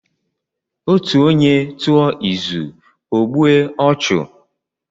Otu onye tụọ izu, ọ gbue ọchụ.